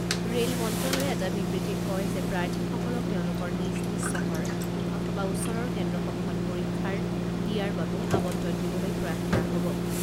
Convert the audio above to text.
Rail মন্ত্ৰালয়ে এটা বিবৃতিত কয় যে প্ৰাৰ্থীসকলক তেওঁলোকৰ নিজ নিজ চহৰ অথবা ওচৰৰ কেন্দ্ৰসমূহত পৰীক্ষাৰ দিয়াৰ বাবে আবণ্টন দিবলৈ প্ৰয়াস কৰা হ'ব।